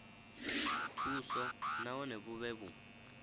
thuso nahone vhu vhe vhu